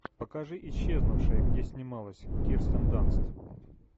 покажи исчезнувшая где снималась кирстен данст